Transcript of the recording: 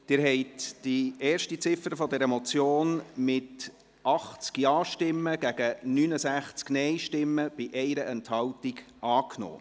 Sie haben die erste Ziffer dieser Motion mit 80 Ja- zu 69 Nein-Stimmen bei 1 Enthaltung angenommen.